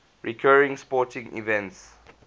recurring sporting events